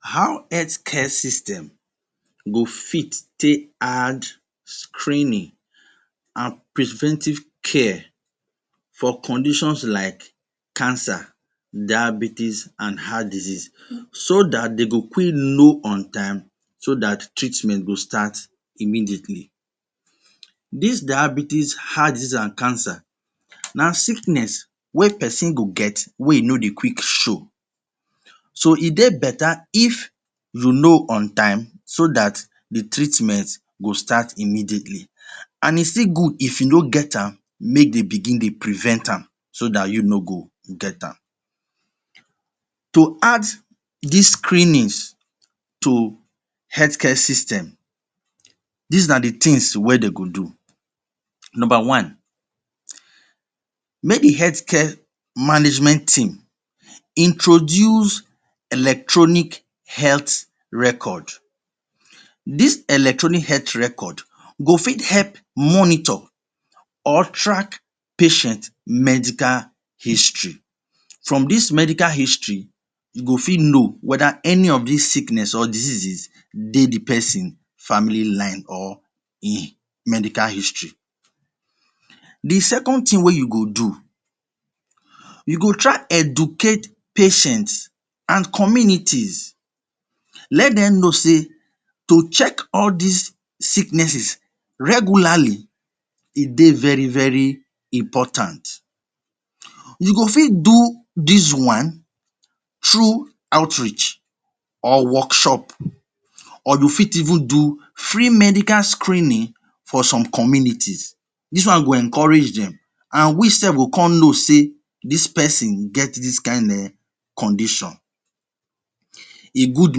How health care system go fit take add screening an preventing care for conditions like cancer, diabetes and heart disease so dat de go quick know on time so dat treatment go start immediately? Dis diabetes, heart disease an cancer na sickness wey peson go get wey e no dey quick show. So, e dey beta if you know on time so dat the treatment go start immediately. An e still good if you no get am, make dey begin dey prevent am so dat you no go get am. To add dis screenings to health care system, dis na the tins wey de go do: Nomba one, make the health care management team introduce electronic health record. Dis electronic health record go fit help monitor or track patient medical history. From dis medical history, you go fit know whether any of dis sickness or diseases dey the peson family line or ein medical history. The second tin wey you go do: you go try educate patient an communities. Let dem know sey to check all dis sicknesses regularly, e dey very very important. You go fit do dis one through outreach or workshop or you fit even do free medical screening for some communities. Dis one go encourage dem an we sef go con know sey dis peson get dis kain um condition. E good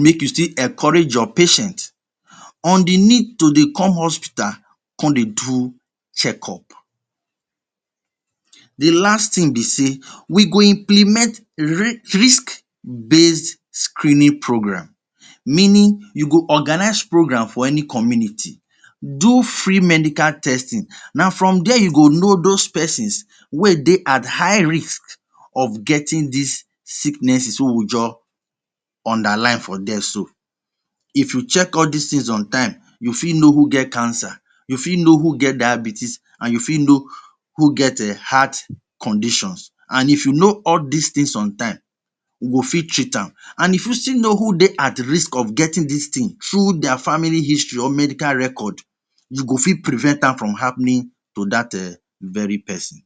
make you still encourage your patient on the need to dey come hospital con dey do checkup. The last tin be sey we go implement risk-based screening program meaning you go organize program for any community, do free medical testing. Na from there you go know dos pesons wey dey at high risk of getting dis sicknesses wey we juz underline for there so. If you check all dis tins on time, you fit know who get cancer, you fit know who get diabetes an you fit know who get um heart conditions. An if you know all dis tins on time, you go fit treat am. An if you still know who dey at risk of getting dis tin through dia family history or medical record, you go fit prevent am from happening to dat um very peson.